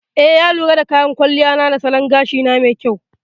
Eh, ya lura da kyan kwalliya ta da salon gashina mai kyau.